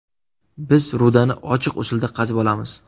Biz rudani ochiq usulda qazib olamiz.